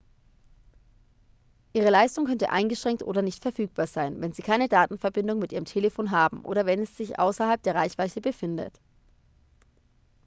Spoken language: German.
ihre leistung könnte eingeschränkt oder nicht verfügbar sein wenn sie keine datenverbindung mit ihrem telefon haben oder wenn es sich außerhalb der reichweite befindet